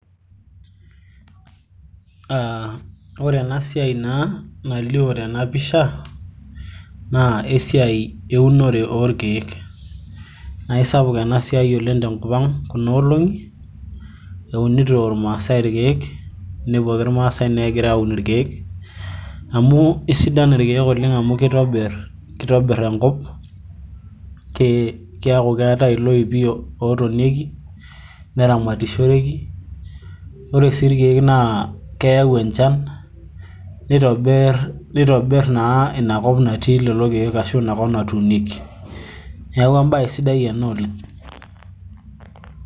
ore ena siai naa nalio tena pisha naa esiai eunore oorkeek. naa isapuk ena siai te nkop ang kuna olongi, eunito irmaasae irkeek. inepu ake irmaasae naa egira aaun irkeek. amu isidai irkeek, kitobir enkop, keeku keetae iloipi ootonieki, naa keyau encham, nitobir naa ina kop natii lelo keek, ashu ina kop natuunieki. neeku ebae sidai ena oleng.